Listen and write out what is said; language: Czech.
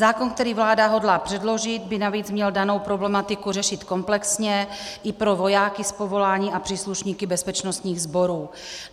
Zákon, který vláda hodlá předložit, by navíc měl danou problematiku řešit komplexně i pro vojáky z povolání a příslušníky bezpečnostních sborů.